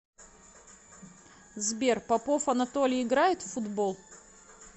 сбер попов анатолий играет в футбол